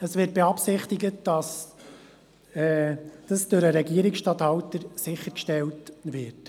Es wird beabsichtigt, dass dies durch den Regierungsstatthalter sichergestellt wird.